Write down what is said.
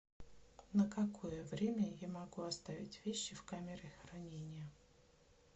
на какое время я могу оставить вещи в камере хранения